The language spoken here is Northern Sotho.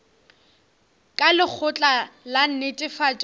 ka lekgotla la netefatšo ya